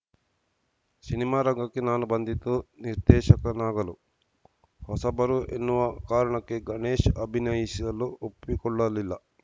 cinema ರಂಗಕ್ಕೆ ನಾನು ಬಂದಿದ್ದು ನಿರ್ದೇಶಕನಾಗಲು ಹೊಸಬರು ಎನ್ನುವ ಕಾರಣಕ್ಕೆ ಗಣೇಶ್‌ ಅಭಿನಯಿಸಲು ಒಪ್ಪಿಕೊಳ್ಳಲಿಲ್ಲ